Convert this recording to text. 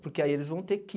Porque aí eles vão ter que...